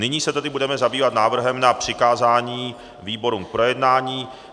Nyní se tedy budeme zabývat návrhem na přikázání výborům k projednání.